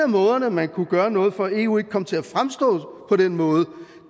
måder man kunne gøre noget for at eu ikke kom til at fremstå på den måde på